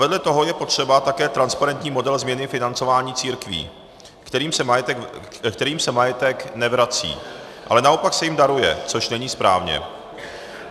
Vedle toho je potřeba také transparentní model změny financování církví, kterým se majetek nevrací, ale naopak se jim daruje, což není správné.